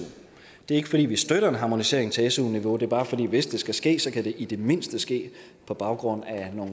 det er ikke fordi vi støtter en harmonisering til su niveau det er bare fordi hvis det skal ske kan det i det mindste ske på baggrund